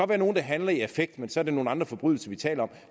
være nogle der handler i affekt men så er det nogle andre forbrydelser vi taler